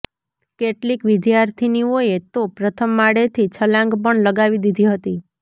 કેટલીક વિદ્યાર્થીનીઓએ તો પ્રથમ માળેથી છલાંગ પણ લગાવી દીધી હતી